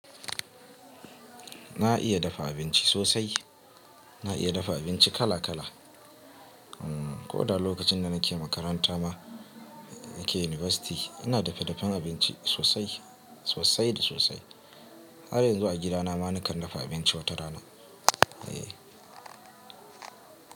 Na iya dafa abinci sosai. Na iya dafa abinci kala kala. Ko da lokacin da nake makaranta ma, nake university, ina dafadafan abinci sosai, sosai da sosai. Har yanzu a gidana ma nakan dafa abinci wata rana.